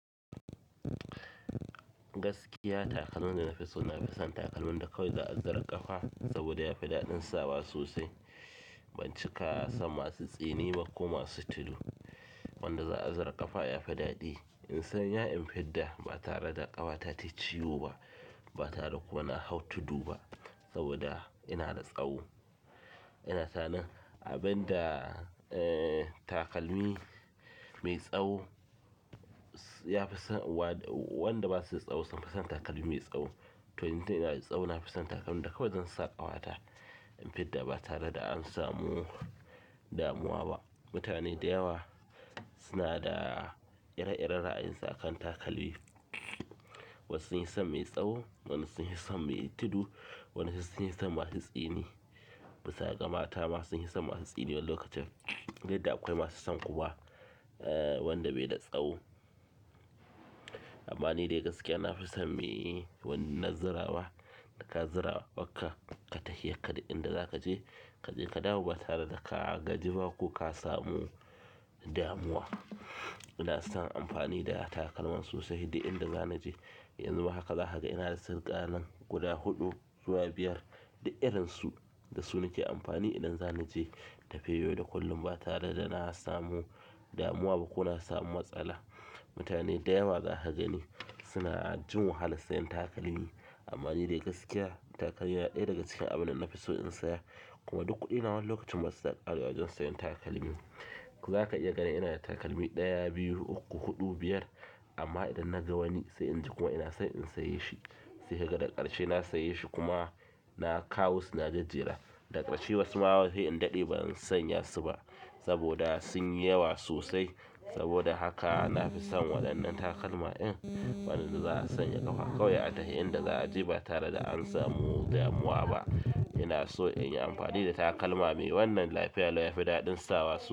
Gaskiya takalman da na fi so na fi son takalmin da kawai za a zira ƙafa saboda ya fi daɗin sawa sosai. Ban cika son masu tsini ba ko masu tudu. Wanda za' a zira ƙafa yafi daɗi in sanya in fidda ba tare da ƙafa ta tayi ciwo ba, ba tare da kuma na hau tudu ba saboda ina da tsawo. Yana sani abinda eg takalmi mai tsaho, wanda basuda tsaho sunfi son takalmi mai tsaho to, in dai ina da tsawo na fi son takalmin da kawai zan sa ƙafata. In fidda ba tare da an samu damuwa ba. Mutane da yawa suna da ire-iren ra'ayinsu a kan takami. Wasu sun yi son mai tsawo, wani sun yi son mai tudu, wasu sun yi son masu tsini. Bisa ga mata masu sun yi son masu tsini wani lokacin. Sai dai akwai masu son kuwa, eh, wanda bai da tsawo. Amma ni dai gaskiya na fi son me wannan zirawa. Da ka zira, abakka kai tafiyarka duk, inda za ka je, ka je ka dawo ba tare da ka gaji ba ko ka samu damuwa. Ina son amfani da takalman sosai, duk inda zana je. Yanzu ma haka, za haka ina da su sunkai nan guda huɗu zuwa biyar da irinsu da su nake amfani idan zana je tafiyoyin yau da kullum ba tare da na samu damuwa ba ko na samu matsala. Mutane da yawa za ka gani suna jin wahala sayan takalmi. Amma ni dai gaskiya takalmi na ɗaya daga cikin abin da na fi so in saya. Kuma duk kuɗina wani lokacin masu sukan karewa wajen sayan takalmi. Za ka iya gani ina da takalmi ɗaya, biyu, uku, huɗu, biyar. Amma idan naga wani sai inji ina son in saye shi sai kaga daga ƙarshe na saye shi kuma na kawo shi na jejera. Daga ƙarshe wasu ma wasu in daɗe ba zan sanya su ba saboda sun yi yawa sosai. Saboda haka na fi son waɗannan takalma in, wanda za a sanya ƙafa kawai a tahi inda za a je ba tare da an samu damuwa ba. Ina so in yi amfani da takalma mai wannan lafiya lau ya fi daɗin sawa sosai.